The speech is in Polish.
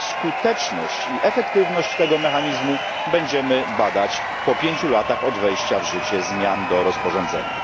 Skuteczność i efektywność tego mechanizmu będziemy badać po pięciu latach od wejścia w życie zmian do rozporządzenia.